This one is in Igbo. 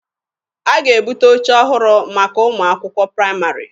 A ga-ebute oche ọhụrụ maka ụmụ akwụkwọ praịmarị.